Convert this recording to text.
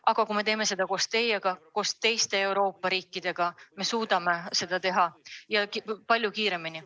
Aga kui me teeme seda koos teiega, koos teiste Euroopa riikidega, siis me suudame seda teha palju kiiremini.